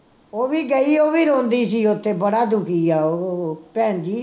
ਉਹ ਵੀ ਗਈ ਉਹ ਵੀ ਰੋਂਦੀ ਸੀ ਉੱਥੇ, ਬੜਾ ਦੁਖੀ ਹੈ ਉਹ, ਭੈਣਜੀ